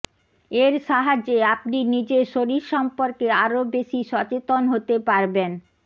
এর সাহায্যে আপনি নিজের শরীর সম্পর্কে আরও বেশি সচেতন হতে পারবেন